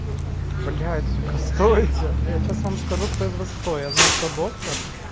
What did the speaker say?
блять сука стойте я сейчас вам скажу кто из вас кто я знаю кто доктор